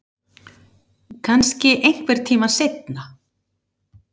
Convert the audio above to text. Kannski einhvern tíma seinna